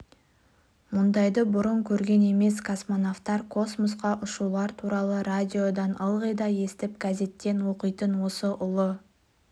мұндайды бұрын көрген емес космонавтар космосқа ұшулар туралы радиодан ылғи да естіп газеттен оқитын осы ұлы